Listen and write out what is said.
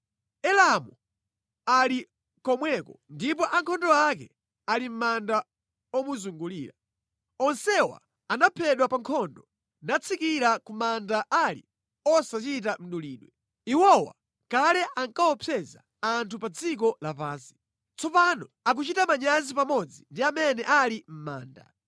“Elamu ali komweko ndipo ankhondo ake ali mʼmanda omuzungulira. Onsewa anaphedwa pa nkhondo, natsikira ku manda ali osachita mdulidwe. Iwowa kale ankaopseza anthu pa dziko lapansi. Tsopano akuchita manyazi pamodzi ndi amene ali mʼmanda.